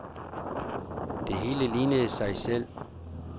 Det hele lignede sig selv.